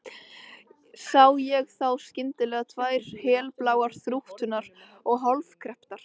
Sé ég þá skyndilega tvær helbláar, þrútnar og hálfkrepptar